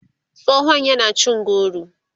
tsohon yana cin goro